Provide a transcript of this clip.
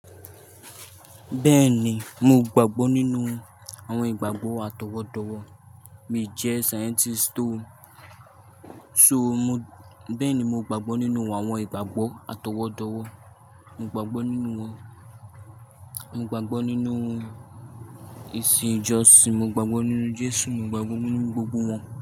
Bẹ́ẹ̀ni, mí ò gbàgbọ́ nínú àwọn ìgbàgbọ́ àtọwọ́dọ̀wọ̀, mi jẹ́ scientist to. So mo, bẹ́ẹ̀ni mo gbàgbọ́ nínú àwọn ìgbàgbọ́ àtọwọ́dọ̀wọ̀, mo gbàgbọ́ nínú wọn. Mo gbàgbọ́ nínú ìsìn ìjọsìn, mo gbàgbọ́ nínú Jésù, mo gbàgbọ́ nínú gbogbo wọn.